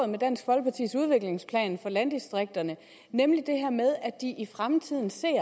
med dansk folkepartis udviklingsplan for landdistrikterne nemlig det her med at de i fremtiden ser at